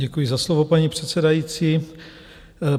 Děkuji za slovo, paní předsedající.